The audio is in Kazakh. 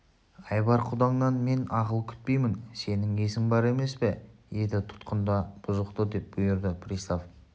айбар құдаңнан мен ақыл күтпеймін сенін есің бар емес пе еді тұтқында бұзықты деп бұйырды пристав